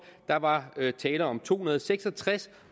der var tale om to hundrede og seks og tres